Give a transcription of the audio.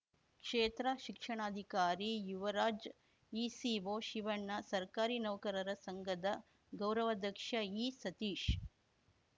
ಕ್ಷೇತ್ರ ಶಿಕ್ಷಾಣಾಧಿಕಾರಿ ಯುವರಾಜ್‌ ಇಸಿಒ ಶಿವಣ್ಣ ಸರ್ಕಾರಿ ನೌಕರರ ಸಂಘದ ಗೌರವಾಧ್ಯಕ್ಷ ಇಸತೀಶ್‌